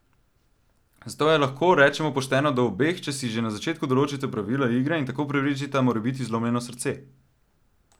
Zato je, lahko rečemo, pošteno do obeh, če si že na začetku določita pravila igre in tako preprečita morebiti zlomljeno srce!